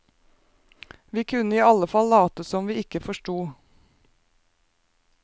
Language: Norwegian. Vi kunne i allefall late som om vi ikke forsto.